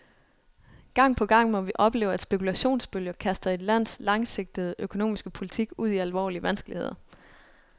Gang på gang må vi opleve, at spekulationsbølger kaster et lands langsigtede økonomiske politik ud i alvorlige vanskeligheder.